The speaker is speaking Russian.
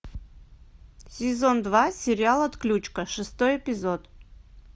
сезон два сериал отключка шестой эпизод